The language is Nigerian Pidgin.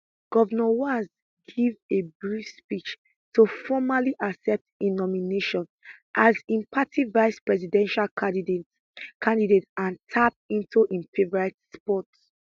govnor walz give a brief speech to formally accept im nomination as im party vicepresidential candidate candidate and tap into im favourite sport